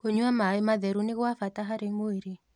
Kũnyua mae matherũ nĩ gwa bata harĩ mwĩrĩ